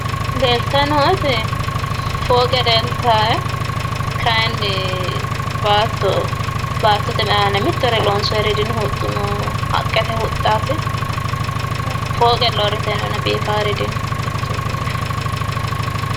leeltayi nooeti fooqe leeltaae kaayiinni baatto baattote aana mittore loonsooyiiri dino huxxuno haqqete huxxaati fooqella uuritinona biifaari dino.